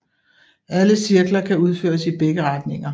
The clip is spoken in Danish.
Alle cirkler kan udføres i begge retninger